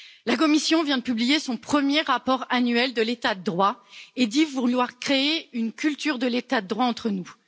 La Commission vient de publier son premier rapport annuel de l'état de droit et dit vouloir créer une culture de l'état de droit entre nous.